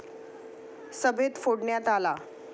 सभेत फोडण्यात आला.